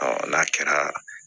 n'a kɛra